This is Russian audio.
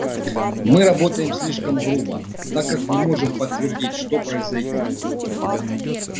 мы работаем слишком грубо так как не можем подтвердить что произойдёт